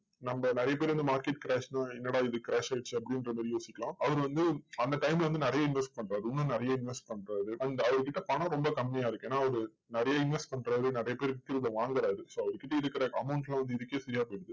நம்ம நிறைய பேர் வந்து market crash னா, என்னடா இது crash ஆயிடுச்சு, அப்படின்றத யோசிக்கறோம். அவர் வந்து, அந்த time ல வந்து நிறைய invest பண்றாரு இன்னும் நிறைய invest பண்ராரு and அவர் கிட்ட பணம் ரொம்ப கம்மியா இருக்கு. ஏன்னா அவரு நிறைய invest பண்றாரு. நிறைய பேர் விக்கிறதை வாங்குறாரு. so அவர்கிட்ட இருக்கிற amount எல்லாம் வந்து இதுக்கே சரியா போயிருது.